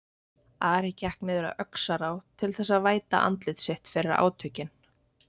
Ari gekk niður að Öxará til þess að væta andlit sitt fyrir átökin.